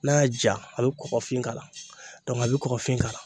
N'a y'a ja a be kɔgɔfin k'a la dɔnke a be kɔgɔfin k'ala